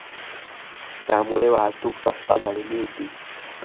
त्यामुळे वाहतूक ठप्प झालेली होती.